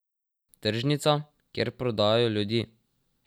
Tržnica, kjer prodajajo ljudi.